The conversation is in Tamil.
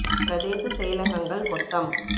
பிரதேச செயலகங்கள் மொத்தம்